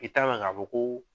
I t'a mɛn k'a fɔ ko